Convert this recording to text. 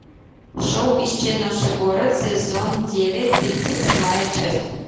шоу исчезнувший город сезон девять тридцать седьмая часть